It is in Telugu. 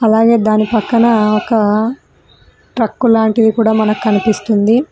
అలాగే దాని పక్కన ఒక ట్రక్కు లాంటిది కూడా మనకి కనిపిస్తుంది.